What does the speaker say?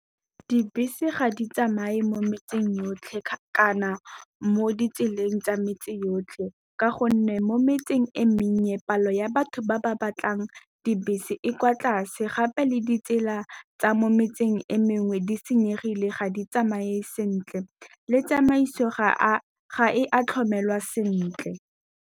Dibese ga di tsamaye mo metseng yotlhe kana mo ditseleng tsa metse yotlhe, ka gonne mo metseng e mennye palo ya batho ba ba batlang di bese e kwa tlase. Gape le ditsela tsa mo metseng e mengwe di senyegile ga di tsamaye sentle, le tsamaiso ga e a tlhokomelwa sentle.